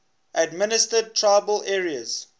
administered tribal areas